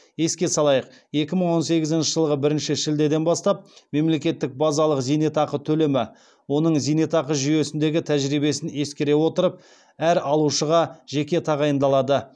еске салайық екі мың он сегізінші жылғы бірінші шілдеден бастап мемлекеттік базалық зейнетақы төлемі оның зейнетақы жүйесіндегі тәжірибесін ескере отырып әр алушыға жеке тағайындалады